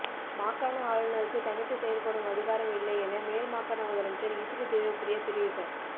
மாகாண ஆளுநருக்கு தனித்து செயற்படும் அதிகாரம் இல்லை என மேல்மாகாண முதலமைச்சர் இசுரு தேவப்பிரிய தெரிவித